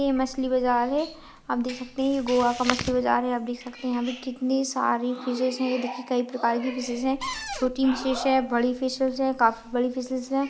ये मछली बज़ार हे आप देख सकते है ये गोवा का मछली बाजार है आप देख सकते हे यहाँ पे कितने सारे फिशेस हे ये देखिये कई प्रकार के फिशेस है छोटी फिशेस हे बड़ी फिशेस है काफी बड़ी फिशेस है।